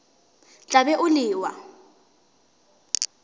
tla be o le wa